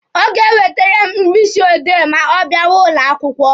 Ọ ga-ewetere m mkpịsị odee ma ọ bịawa ụlọ akwụkwọ.